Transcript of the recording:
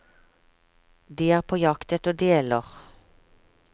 De er på jakt etter deler.